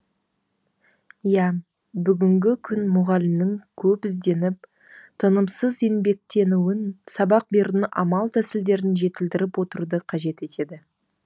иә бүгінгі күн мұғалімнің көп ізденіп тынымсыз еңбектенуін сабақ берудің амал тәсілдерін жетілдіріп отыруды қажет етеді